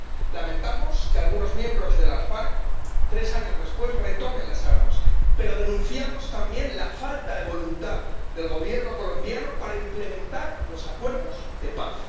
Lamentamos que algunos miembros de las FARC, tres años después, retomen las armas, pero denunciamos también la falta de voluntad del Gobierno colombiano para implementar los acuerdos de paz.